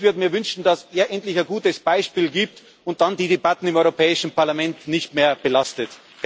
Ich würde mir wünschen, dass er endlich ein gutes Beispiel gibt und dann die Debatten im Europäischen Parlament nicht mehr belastet.